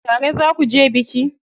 Tare za kuje biki?